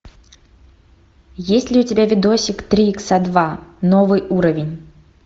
есть ли у тебя видосик три икса два новый уровень